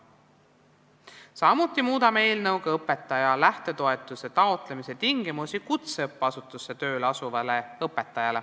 Samuti muudame eelnõuga kutseõppeasutusse tööle asuval õpetaja tingimusi õpetaja lähtetoetuse taotlemiseks.